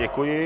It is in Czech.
Děkuji.